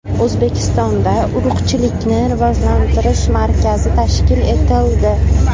O‘zbekistonda Urug‘chilikni rivojlantirish markazi tashkil etildi.